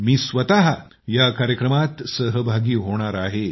मी स्वतः या कार्यक्रमात सहभागी होणार आहे